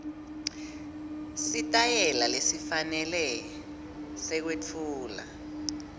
sitayela lesifanele sekwetfula